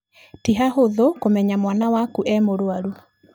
Ti hahũthũ kũmenya mwana waku e mũrwaru.